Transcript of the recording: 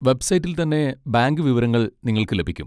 വെബ്സൈറ്റിൽ തന്നെ ബാങ്ക് വിവരങ്ങൾ നിങ്ങൾക്ക് ലഭിക്കും.